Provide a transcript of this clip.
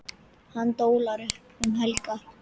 Hann dólar bara um helgar.